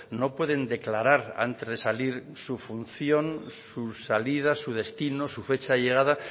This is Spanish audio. no pueden declarar antes de salir su función su salida su destino su fecha de llegada